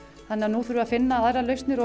nú erum við að finna aðrar lausnir